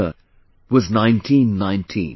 The year was 1919